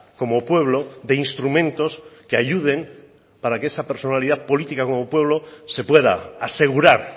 como pueblo de instrumentos que ayuden para que esa personalidad política como pueblo se pueda asegurar